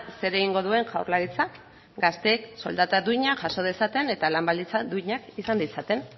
zer egingo duen jaurlaritzak gazteek soldata duina jaso dezaten eta lan baldintzak duinak izan ditzaten